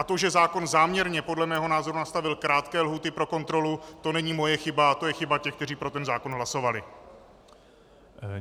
A to, že zákon záměrně podle mého názoru nastavil krátké lhůty pro kontrolu, to není moje chyba, to je chyba těch, kteří pro ten zákon hlasovali.